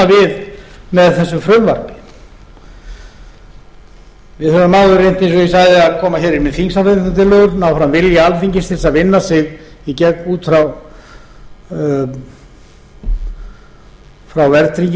núna við með þessu frumvarpi við höfum áður reynt eins og ég sagði að koma hér inn með þingsályktunartillögur ná fram vilja alþingis til þess að vinna sig í gegn út frá verðtryggingunni